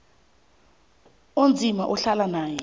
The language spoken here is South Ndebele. onzima ahlala naye